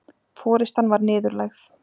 Forystan var niðurlægð